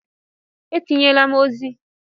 Etinyela m ozi!